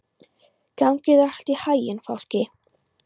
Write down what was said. Gangi þér allt í haginn, Fálki.